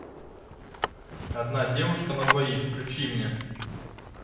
одна девушка на двоих включи мне